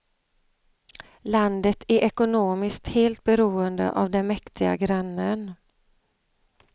Landet är ekonomiskt helt beroende av den mäktiga grannen.